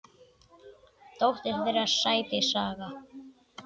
Dóttir þeirra: Sædís Saga.